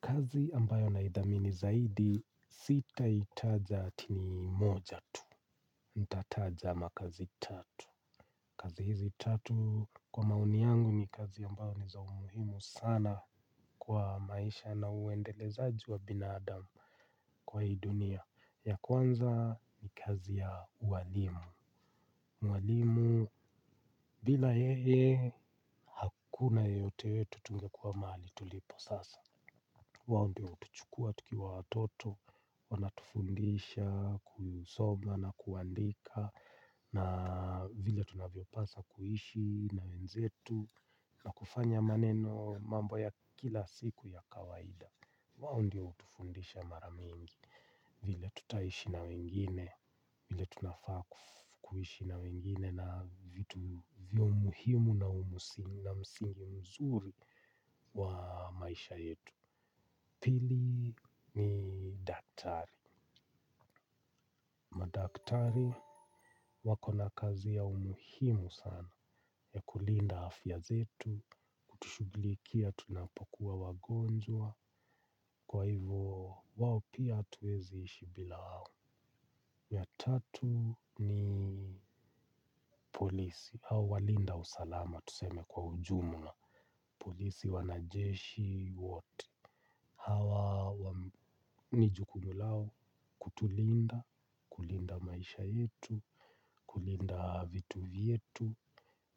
Kazi ambayo naithamini zaidi zitaitaja ati ni moja tu nitataja makazi tatu. Kazi hizi tatu kwa maoni yangu ni kazi ambayo ni za umuhimu sana kwa maisha na uendelezaji wa binadamu kwa hii dunia. Ya kwanza ni kazi ya ualimu. Mwalimu bila yeye hakuna yeyote wetu tungekuwa mahali tulipo sasa. Wao ndio hutuchukua tukiwa watoto, wanatufundisha, kusoma na kuandika na vile tunavyopaswa kuishi na wenzetu na kufanya maneno mambo ya kila siku ya kawaida. Wao ndio hutufundisha mara mingi vile tutaishi na wengine, vile tunafaa kuishi na wengine na vitu vya umuhimu na msingi mzuri wa maisha yetu. Pili ni daktari. Madaktari wako na kazi ya umuhimu sana ya kulinda afya zetu. Kutushughulikia tunapokuwa wagonjwa. Kwa hivyo wao pia hatuezi ishi bila wao. Ya tatu ni polisi au walinda usalama tuseme kwa ujumla polisi wanajeshi wote hawa ni jukumu lao kutulinda, kulinda maisha yetu, kulinda vitu vyetu,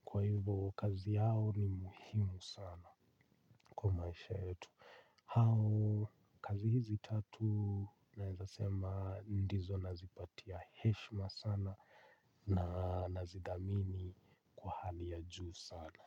kwa hivyo kazi yao ni muhimu sana kwa maisha yetu. Hao kazi hizi tatu naeza sema ndizo nazipatia heshima sana na nazidhamini kwa hali ya juu sana.